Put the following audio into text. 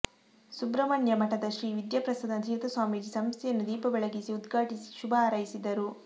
ಸುಬ್ರಹ್ಮಣ್ಯ ಮಠದ ಶ್ರೀ ವಿದ್ಯಾಪ್ರಸನ್ನ ತೀರ್ಥ ಸ್ವಾಮೀಜಿ ಸಂಸ್ಥೆಯನ್ನು ದೀಪ ಬೆಳಗಿಸಿ ಉದ್ಘಾಟಿಸಿ ಶುಭ ಹಾರೈಸಿದರು